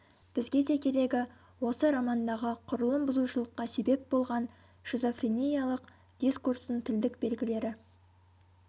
бізге де керегі осы романдағы құрылым бұзушылыққа себеп болған шизофрениялық дискурстың тілдік белгілері